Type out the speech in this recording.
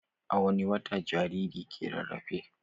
A wani wata jarirai ke rarafe?